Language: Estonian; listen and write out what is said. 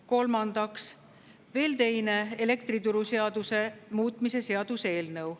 Kolmandaks, veel teine elektrituruseaduse muutmise seaduse eelnõu.